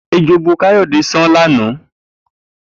Ejò bu Kayode san lànà.